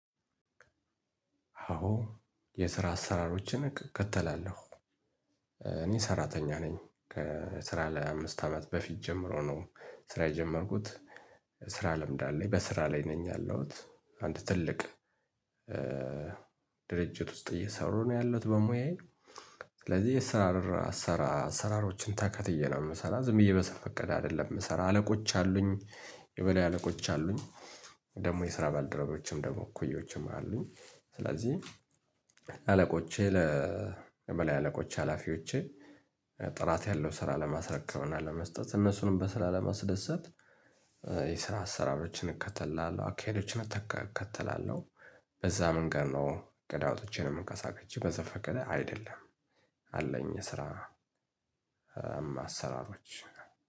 አዎ የስራ አሰራሮችን እከተላለሁ። እኔ ሰራተኛ ነኝ ከስራ ላይ አምስት አመት በፊት ጀምሮ ነው ስራ የጀመርኩት። ስራ ለምድ አለኝ በስራ ላይ ነኝ ያለሁት አንድ ትልቅ ድርጅት ውስጥ እየሰሩ ነው ያለሁት በሙያዬ። ስለዚህ የሰራር አሰራር አሰራሮችን ተከትዬ ነው ምሰራው ዝም ብዬ በዘፈቀደ አይደለም የምሰራው አለቆች አሉኝ የበላይ አለቆች አሉኝ። ደግሞ የስራ ባልደረቦችም ደግሞ እኩዮችም አሉኝ ስለዚህ አለቆቼ ለመላ አለቆች ሀላፊዎቼ ጥራት ያለው ስራ ለማስረከብና ለመስጠት እነሱንም በስራ ለማስደሰት። የስራ አሰራሮችን እከተላለው አካሄዶችን እከተላለሁ። በዛ መንገድ ነው ገዳ ወጥቼ ነው የምንቀሳቀሰው በዛ ፈቀደ አይደለም። አለኝ የስራ አሰራሮች